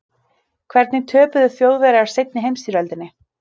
Hvernig töpuðu Þjóðverjar seinni heimsstyrjöldinni?